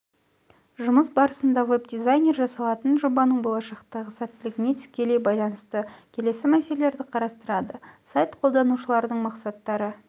жұмыс барысында веб-дизайнер жасалатын жобаның болашақтағы сәттілігіне тікелей байланысты келесі мәселелерді қарастырады сайт қолданушыларының мақсаттары